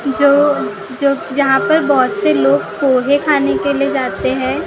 जो जो जहाँ पर बहुत से लोग पोहे खाने के लिए जाते हैं।